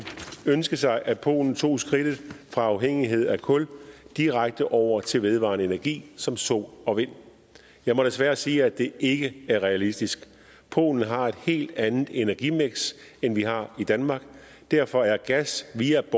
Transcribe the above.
ønske sig at polen tog skridtet fra afhængighed af kul og direkte over til vedvarende energi som sol og vind jeg må desværre sige at det ikke er realistisk polen har et helt andet energimiks end vi har i danmark derfor er gas via